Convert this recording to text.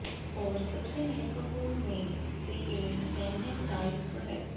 और सबसे महत्वपूर्ण में से एक सैन्य दायित्व है